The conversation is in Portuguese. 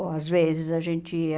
Ou às vezes a gente ia...